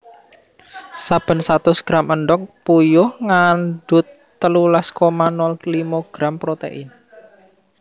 Saben satus gram endhog puyuh ngandhut telulas koma nol limo gram protein